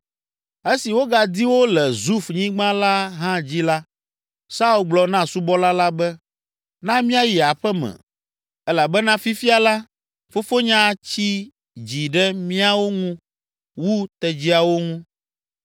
Esi wogadi wo le Zuf nyigba la hã dzi la, Saul gblɔ na subɔla la be, “Na míayi aƒe me elabena fifia la, fofonye atsi dzi ɖe míawo ŋu wu tedziawo ŋu!”